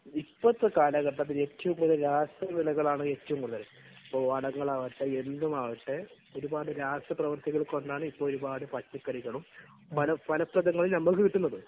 ഇപ്പോഴത്തെ കാലഘട്ടത്തിൽ ഏറ്റവും കൂടുതൽ വിളകളാണ് ഏറ്റവും കൂടുതൽ. വളങ്ങളാകട്ടെ, എന്തുമാകട്ടെ, ഒരുപാട് രാസപ്രവൃത്തികൾ കൊണ്ടാണ് ഇപ്പോൾ ഒരുപാട് പച്ചക്കറികളും നമുക്ക് കിട്ടുന്നത്.